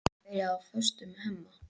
Hún byrjaði á föstu með Hemma.